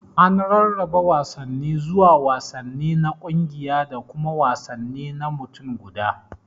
An rarraba wasanni zuwa wasanni na kungiya da kuma wasanni na mutum guda.